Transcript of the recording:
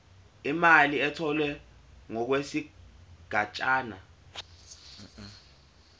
imali etholwe ngokwesigatshana